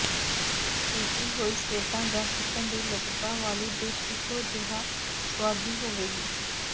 ਪੀਤੀ ਹੋਈ ਸਲੇਟਾਂ ਜਾਂ ਚਿਕਨ ਦੀ ਲਤ੍ਤਾ ਵਾਲੀ ਡਿਸ਼ ਇਕੋ ਜਿਹਾ ਸੁਆਦੀ ਹੋਵੇਗੀ